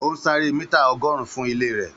Ó ń sáré mítà ọgọ́rùn-ún fún ilé rẹ̀